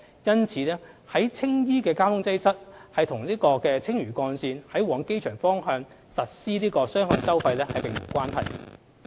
因此，在青衣的交通擠塞與青嶼幹線於往機場方向實施雙向收費並無關係。